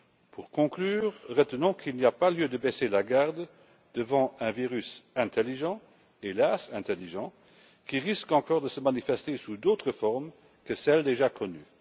Pour conclure, retenons qu'il n'y a pas lieu de baisser la garde devant un virus intelligent hélas intelligent qui risque encore de se manifester sous d'autres formes que celles déjà connues.